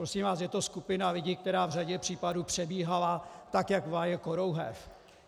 Prosím vás, je to skupina lidí, která v řadě případů přebíhala tak, jak vlaje korouhev.